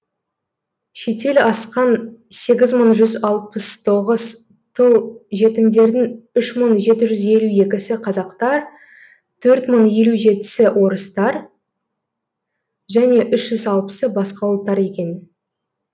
шетел асқан сегіз мың жүз алпыс тоғыз тұл жетімдердің үш мың жеті жүз елу екісі қазақтар төрт мың елу жетісі орыстар және үш жүз алпысы басқа ұлттар екен